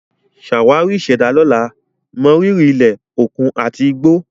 Ṣàwárí ìṣẹ̀dá lọ́la, mọrírì ilẹ̀, òkun, àti igbó.